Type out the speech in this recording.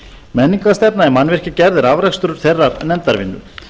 menningarstefna í mannvirkjagerð er afrakstur þeirrar nefndarvinnu